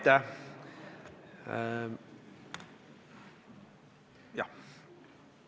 Aitäh!